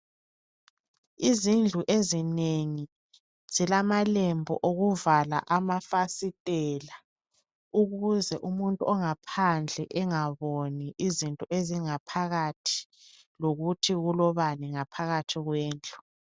Izindlu ezinengi zilamalembu okuvala amafasitela, ukuze umuntu ongaphandle engaboni izinto ezingaphakathi, lokuthi kulobani ngaphakathi kwendlu.